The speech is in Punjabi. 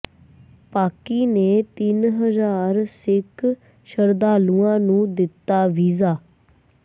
ਪਾਕਿ ਨੇ ਤਿੰਨ ਹਜ਼ਾਰ ਸਿੱਖ ਸ਼ਰਧਾਲੂਆਂ ਨੂੰ ਦਿੱਤਾ ਵੀਜ਼ਾ